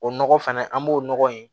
O nɔgɔ fɛnɛ an b'o nɔgɔ in